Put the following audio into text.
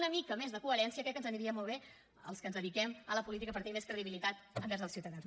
una mica més de coherència crec que ens aniria molt bé als que ens dediquem a la política per tenir més credibilitat envers els ciutadans